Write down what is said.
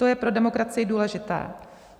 To je pro demokracii důležité.